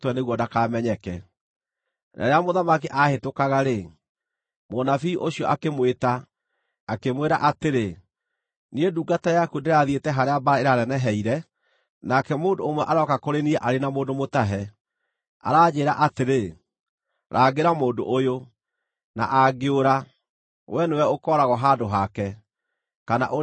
Na rĩrĩa mũthamaki aahĩtũkaga-rĩ, mũnabii ũcio akĩmwĩta, akĩmwĩra atĩrĩ, “Niĩ ndungata yaku ndĩrathiĩte harĩa mbaara ĩneneheire, nake mũndũ ũmwe arooka kũrĩ niĩ arĩ na mũndũ mũtahe, aranjĩĩra atĩrĩ, ‘Rangĩra mũndũ ũyũ, na angĩũra, wee nĩwe ũkooragwo handũ hake, kana ũrĩhe taranda ĩmwe ya betha.’